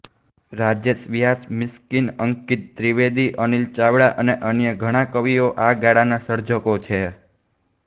રાજેશ વ્યાસ મિસ્કિન અંકિત ત્રિવેદી અનિલ ચાવડા અને અન્ય ઘણા કવિઓ આ ગાળાના સર્જકો છે